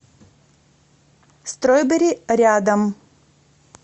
стройбери рядом